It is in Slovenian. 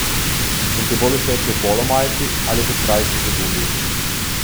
Sem ti bolj všeč v polo majici ali v srajci z gumbi?